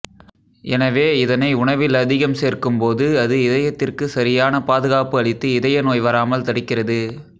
எனவே இதனை உணவில் அதிகம் சேர்க்கும் போது அது இதயத்திற்கு சரியான பாதுகாப்பு அளித்து இதய நோய் வராமல் தடுக்கிறது